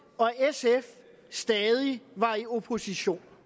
og sf stadig var i opposition